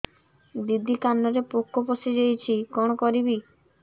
ଦିଦି କାନରେ ପୋକ ପଶିଯାଇଛି କଣ କରିଵି